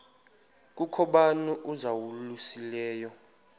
kukho bani uzalusileyo